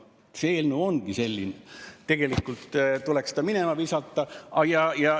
See eelnõu ongi selline, et tegelikult tuleks ta minema visata.